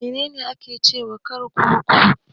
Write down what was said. Mene ne ake cewa kurkuku?